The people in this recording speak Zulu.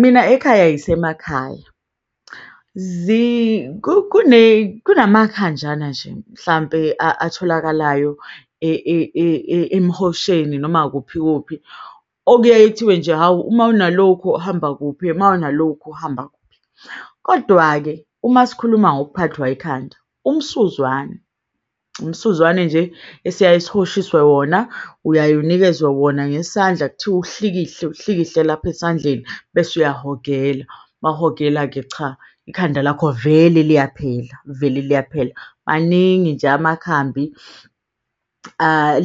Mina ekhaya yisemakhaya, kune kunama khanjana nje, mhlampe atholakalayo emihosheni, noma kuphi kuphi okuyaye kuthiwe nje hhawu, uma unalokhu hamba kuphi uma unalokhu hamba kuphi. Kodwa-ke uma sikhuluma ngokuphathwa yikhanda umsuzwane, umsuzwane nje esiyaye sihoshiswe wona uyaye unikezwe wona ngesandla. Kuthiwa uhlikihle, uhlikihle lapha esandleni bese uyahogela mawuhogela-ke, cha ikhanda lakho vele liyaphela, vele liyaphela. Maningi nje amakhambi